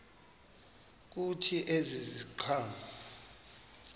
kuthi ezi ziqhamo